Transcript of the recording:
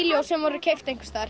ljós sem voru keypt einhvers staðar